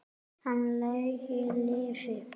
Hann lengi lifi.